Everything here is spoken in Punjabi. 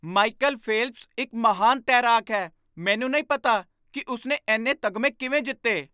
ਮਾਈਕਲ ਫੇਲਪਸ ਇੱਕ ਮਹਾਨ ਤੈਰਾਕ ਹੈ। ਮੈਨੂੰ ਨਹੀਂ ਪਤਾ ਕਿ ਉਸ ਨੇ ਇੰਨੇ ਤਗਮੇ ਕਿਵੇਂ ਜਿੱਤੇ!